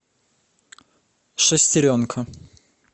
шестеренка